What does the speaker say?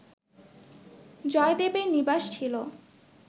জয়দেবের নিবাস ছিল